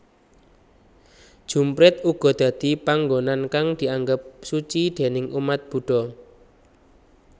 Jumprit uga dadi panggonan kang dianggep suci déning umat Budha